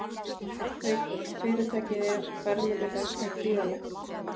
Haukur: Fyrirtækið er, verðmæti þess er gríðarlegt?